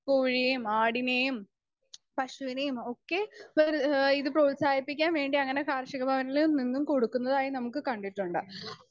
Speaker 2 കൊഴിയേം ആടിനെയും പശുവിനെയും ഒക്കെ വെര് ഏഹ് ഇത് പ്രോത്സാഹിപ്പിക്കാൻവേണ്ടി അങ്ങനെ കാർഷികഭവനില് നിന്നും കൊടുക്കുന്നതായി നമുക്ക് കണ്ടിട്ടുണ്ട്.